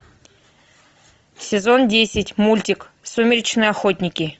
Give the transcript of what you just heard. сезон десять мультик сумеречные охотники